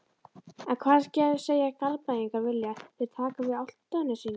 En hvað segja Garðbæingar, vilja þeir taka við Álftnesingum?